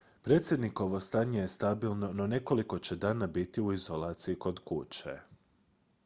predsjednikovo stanje je stabilno no nekoliko će dana biti u izolaciji kod kuće